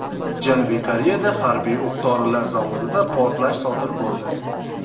Janubiy Koreyada harbiy o‘q-dorilar zavodida portlash sodir bo‘ldi.